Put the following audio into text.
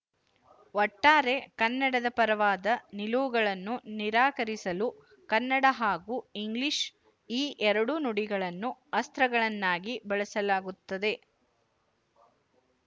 ಒಟ್ಟಾರೆ ಕನ್ನಡದ ಪರವಾದ ನಿಲುವುಗಳನ್ನು ನಿರಾಕರಿಸಲು ಕನ್ನಡ ಹಾಗೂ ಇಂಗ್ಲಿಶು ಈ ಎರಡೂ ನುಡಿಗಳನ್ನು ಅಸ್ತ್ರಗಳನ್ನಾಗಿ ಬಳಸಲಾಗುತ್ತದೆ